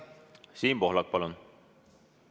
Siim Pohlak, palun!